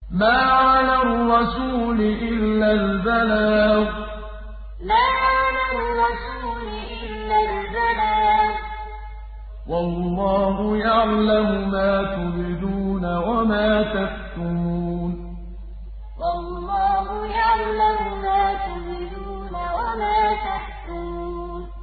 مَّا عَلَى الرَّسُولِ إِلَّا الْبَلَاغُ ۗ وَاللَّهُ يَعْلَمُ مَا تُبْدُونَ وَمَا تَكْتُمُونَ مَّا عَلَى الرَّسُولِ إِلَّا الْبَلَاغُ ۗ وَاللَّهُ يَعْلَمُ مَا تُبْدُونَ وَمَا تَكْتُمُونَ